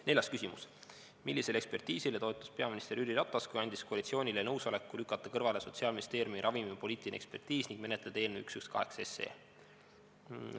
Neljas küsimus: "Millisele ekspertiisile toetus peaminister Jüri Ratas, kui andis koalitsioonile nõusoleku lükata kõrvale Sotsiaalministeeriumi ravimipoliitiline ekspertiis ning menetleda eelnõu 118 SE?